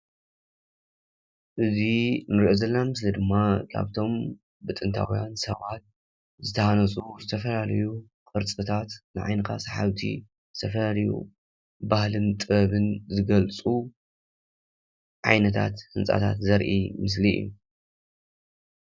እዚ ንሪኦ ዘለና ምስሊ ድማ ካብቶም ብጥንታውያን ሰባት ዝተሃነፁ ዝተፈላለዩ ቅርፅታት ንዓይንኻ ሰሓብቲ ዝተፈላለዩ ባህልን ጥበብን ዝገልፁ ዓይነታት ህንፃታት ዘርኢ ምስሊ እዩ ።